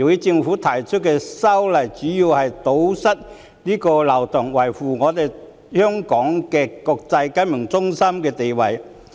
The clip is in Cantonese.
政府提出修例主要是為了堵塞這個漏洞，維護香港國際金融中心的地位。